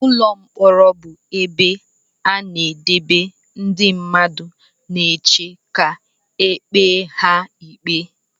Ụlọ mkpọrọ bụ ebe a na-edebe ndị mmadụ na-eche ka ekpe ha ikpe.